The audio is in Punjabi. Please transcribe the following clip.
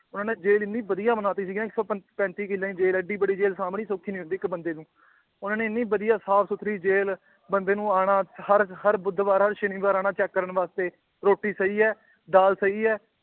ਉਹਨਾਂ ਨੇ ਜੇਲ੍ਹ ਇੰਨੀ ਵਧੀਆ ਬਣਾ ਦਿੱਤੀ ਸੀਗੀ ਨਾ ਇੱਕ ਪੈਂ ਪੈਂਤੀ ਕਿੱਲਿਆ ਦੀ ਜੇਲ੍ਹ ਹੈ ਏਡੀ ਵੱਡੀ ਜੇਲ੍ਹ ਸਾਂਭਣੀ ਸੌਖੀ ਨੀ ਹੁੰਦੀ ਇੱਕ ਬੰਦੇ ਨੂੰ ਉਹਨਾ ਨੇ ਇੰਨੀ ਵਧੀਆ ਸਾਫ਼ ਸੁੱਥਰੀ ਜੇਲ੍ਹ ਬੰਦੇ ਨੂੰ ਆਉਣਾ ਹਰ ਹਰ ਬੁੱਧਵਾਰ ਹਰ ਸ਼ਨੀਵਾਰ ਆਉਣਾ check ਕਰਨ ਵਾਸਤੇ ਰੋਟੀ ਸਹੀ ਹੈ ਦਾਲ ਸਹੀ ਹੈ